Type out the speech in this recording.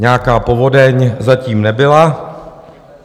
Nějaká povodeň zatím nebyla.